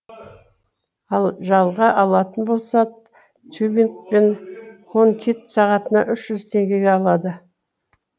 ал жалға алатын болса тюбинг пен конькиді сағатына үш жүз теңгеге алады